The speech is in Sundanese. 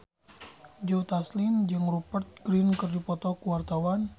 Joe Taslim jeung Rupert Grin keur dipoto ku wartawan